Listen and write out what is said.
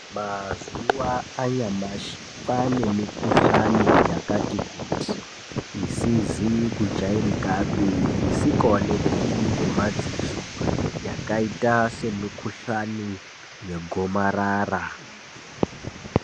Mazuwa anyamashi kwane mikuhlani yakati kuti isizi kujairikapi isingaonekwi nemadziso yakaita semikuhlani yegomarara.